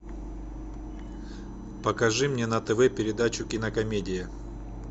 покажи мне на тв передачу кинокомедия